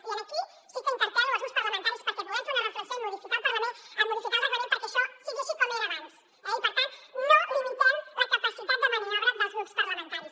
i aquí sí que interpel·lo els grups parlamentaris perquè puguem fer una reflexió i modificar el reglament perquè això sigui així com era abans eh i per tant no limitem la capacitat de maniobra dels grups parlamentaris